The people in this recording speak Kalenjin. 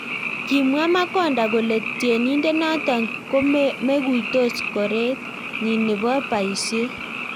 Kimwaa makonda kolee tienidet notok komeguitos korett nyii neboo paisiet